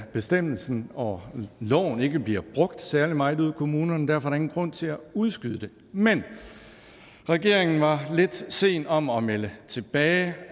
bestemmelsen og loven ikke bliver brugt særlig meget ude i kommunerne derfor er der ingen grund til at udskyde det men regeringen var lidt sen om at melde tilbage